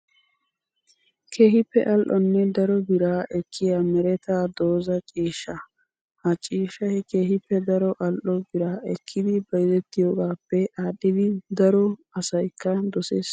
Keehippe al'onne daro biraa ekkiyaa meretaa doozaa ciishshaa. Ha ciishshayi keehippe daro al'o biraa ekkidi bayizettiyoogaappe aadhidi daro asyikka doses.